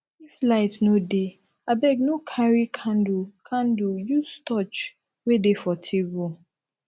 if light no dey abeg no carry candle candle use torch wey dey for table